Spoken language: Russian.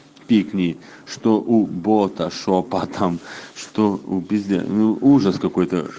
пик ни что у бота шёпотом что у пиздец ну ужас какой-то